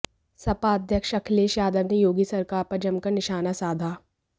सपा अध्यक्ष अखिलेश यादव ने योगी सरकार पर जमकर निशाना साधा